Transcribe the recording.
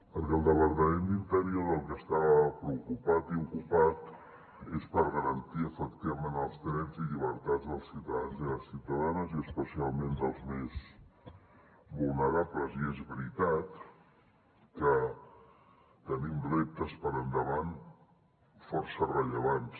perquè el departament d’interior pel que està preocupat i ocupat és per garantir efectivament els drets i llibertats dels ciutadans i les ciutadanes i especialment dels més vulnerables i és veritat que tenim reptes per endavant força rellevants